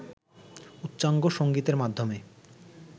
উচ্চাঙ্গ সংগীতের মাধ্যমে